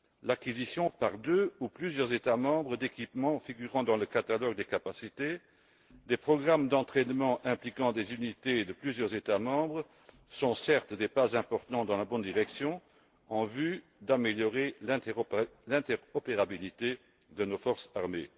L'acquisition par deux ou plusieurs États membres d'équipements figurant dans le catalogue des capacités, des programmes d'entraînement impliquant des unités de plusieurs États membres sont, certes, des pas importants dans la bonne direction en vue d'améliorer l'interopérabilité de nos forces armées.